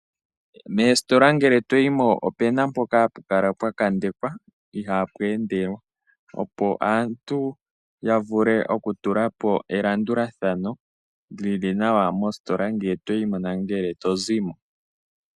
Moositola ngele toyimo opena mpoka hapu kala pwa kandekwa ihapu endelwa opo aantu yavule oku elandulathano lili nawa mositola ngele toyimo nongele tozimo.